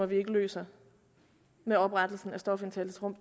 vi ikke løser med oprettelsen af stofindtagelsesrum